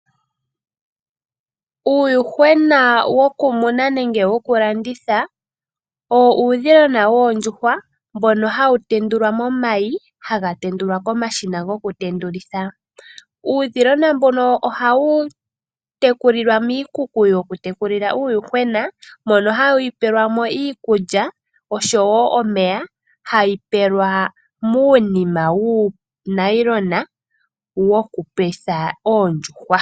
Uuyuhwena woku muna nenge woku landitha owo uudhilona woondjuhwa mbono hawu tendulwa momayi haga tendulwa komashina goku tendulitha . Uudhilona mbuno ohawu tekulilwa miikuku yoku tekulilwa uuyuhwena mono hawu pelwamo iikulya oshowo omeya hawu pelwa muunima muunima wuunayilona woku petha oondjuhwa.